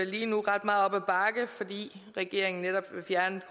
lige nu ret meget op ad bakke fordi regeringen netop vil fjerne